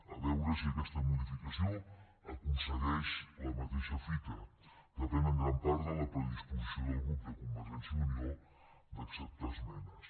a veure si aquesta modificació aconsegueix la mateixa fita depèn en gran part de la predisposició del grup de convergència i unió d’acceptar esmenes